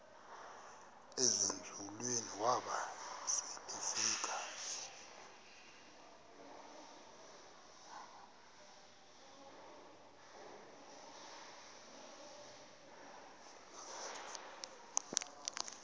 ezinzulwini waba selefika